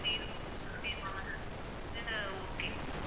இத okay